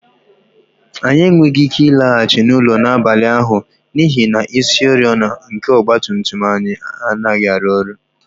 Anyị enweghị ike ịlaghachi n'ụlọ n'abalị ahụ n'ihi na isioriọna nke ọgba tum tum anyị anaghị arụ ọrụ